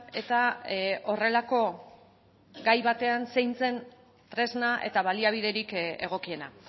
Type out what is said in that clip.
eta horrelako gai batean zein zen tresna eta baliabiderik egokiena